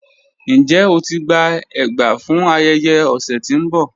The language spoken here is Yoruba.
Njẹ́ o ti gbà ègbà fún ayéyẹ ọsẹ tí n bọ?